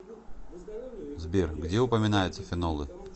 сбер где упоминается фенолы